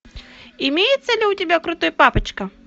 имеется ли у тебя крутой папочка